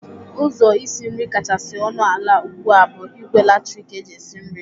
Ụzọ isi nri kachasị ọnụ ala ugbu a bụ ìgwè latrik eji esi nri.